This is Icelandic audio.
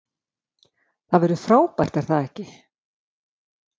Það verður frábært er það ekki?